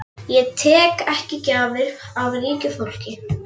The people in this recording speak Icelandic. Ég þigg ekki gjafir af ríku fólki.